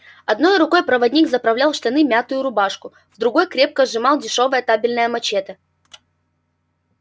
одной рукой проводник заправлял в штаны мятую рубашку в другой крепко сжимал дешёвое табельное мачете